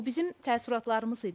Bu bizim təəssüratlarımız idi.